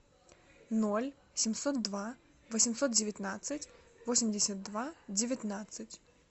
ноль семьсот два восемьсот девятнадцать восемьдесят два девятнадцать